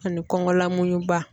Ani kɔngɔ lamuɲuba